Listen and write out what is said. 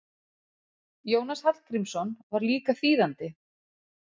Jónas Hallgrímsson var líka þýðandi.